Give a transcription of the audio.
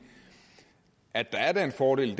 at der er den fordel